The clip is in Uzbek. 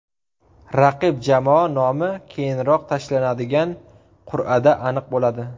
Raqib jamoa nomi keyinroq tashlanadigan qur’ada aniq bo‘ladi.